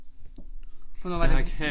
For hvornår var det